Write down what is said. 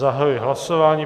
Zahajuji hlasování.